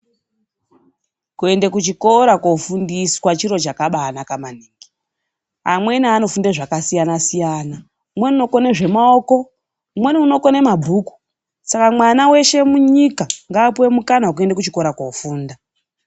Kuende kuchikora kofundiswa chiro chakabaanaka maningi. Amweni anofunda zvakasiyana siyana. Umweni unokone zvemaoko, umweni unokone mabhuku. Saka, mwana veshe munyika ngaapuwe mukana wekuenda kuchikora koofunda.